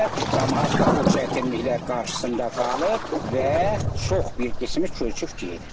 Camaat da o çətinliklər qarşısında qalır və çox bir qismi köçüb gedir.